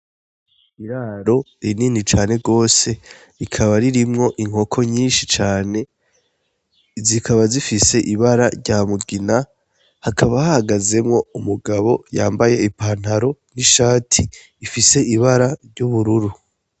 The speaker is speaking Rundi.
Iraro rinini cane gose rikaba ririmwo inkoko nyinshi cane, zikaba zifise ibara rya mugina, hakaba hahagazemwo umugabo yambaye ipantaro n'ishati ifise ibara ry'ubururu.